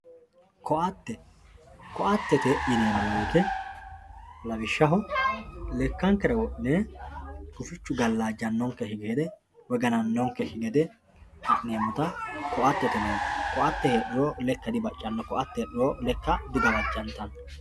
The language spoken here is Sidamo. ko"atte ko"attete yineemo woyiite lawishshaho lekkankera wodhine gufichu gallajjanonkekki gede woy ganannonkeki gede ha'neemota ko"attete yineemo ko"atte heedhuro lekka dibaccanno ko"atte heedhuro lekke digawajjantanno.